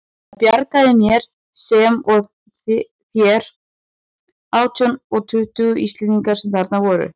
Það bjargaði mér, sem og þeir átján eða tuttugu Íslendingar sem þarna voru.